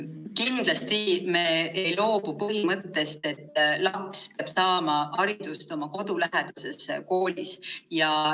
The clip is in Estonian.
Kindlasti me ei loobu põhimõttest, et laps peab saama hariduse oma kodulähedases koolis.